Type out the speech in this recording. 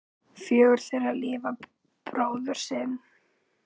Fjögur þeirra lifa bróður sinn.